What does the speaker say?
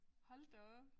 Hold da op